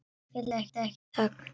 Því fylgdi ekki þögn.